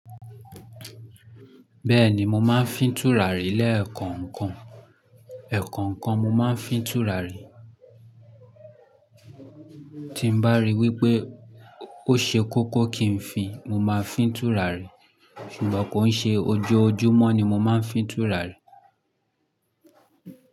Bẹ́ẹ̀ni, mo máa ń fin tùràri lẹ́ẹ̀kọ̀ọ̀kan. Ẹ̀kọ̀ọ̀kan mo máa ń fi tùràrí. Tí n bá rí wípé ó ṣe kókó kí n fi, mo máa fín tùràrí. Ṣùgbọ́n kò ń ṣe ojoojúmọ́ ni mo máa ń fín tùràrí.